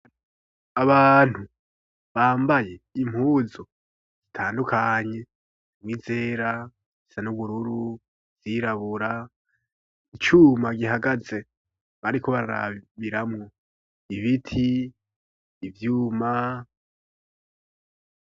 Abantu, bambaye, impuzo ,zitandukanye ,izera ,izisan'ubururu ,izirabura ,icuma gihagaze ,bariko barabiramwo ,ibiti ,ivyuma